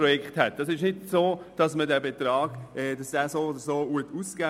Es ist nicht so, dass der Betrag so oder so ausgeben wird.